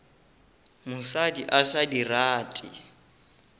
mosadi a sa di rate